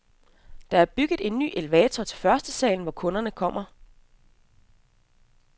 Der er bygget en ny elevator til førstesalen, hvor kunderne kommer.